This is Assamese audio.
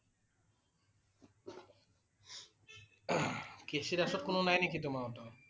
কে চি দাসত কোনো নাই নেকি তোমাৰ সতৰ?